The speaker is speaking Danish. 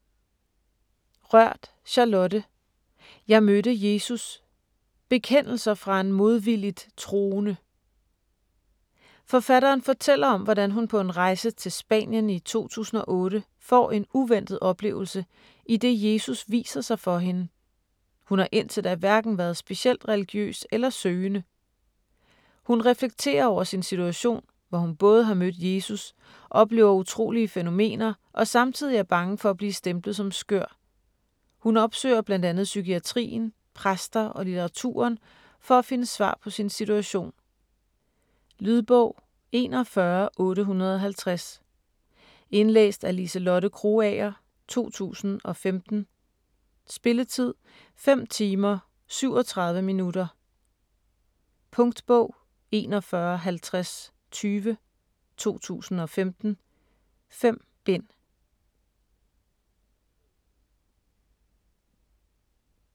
Rørth, Charlotte: Jeg mødte Jesus: bekendelser fra en modvilligt troende Forfatteren fortæller om hvordan hun på en rejse til Spanien i 2008 får en uventet oplevelse, idet Jesus viser sig for hende. Hun har indtil da hverken været specielt religiøs eller søgende. Hun reflekterer over sin situation, hvor hun både har mødt Jesus, oplever utrolige fænomener og samtidig er bange for at blive stemplet som skør. Hun opsøger bl.a. psykiatrien, præster og litteraturen, for at finde svar på sin situation. Lydbog 41850 Indlæst af Liselotte Krogager, 2015. Spilletid: 5 timer, 37 minutter. Punktbog 415020 2015. 5 bind.